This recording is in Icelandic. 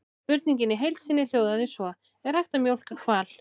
Spurningin í heild sinni hljóðaði svo: Er hægt að mjólka hval?